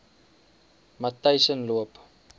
matyzensloop